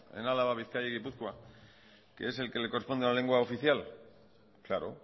en álava bizkaia y gipuzkoa que es el que le corresponde a la lengua oficial claro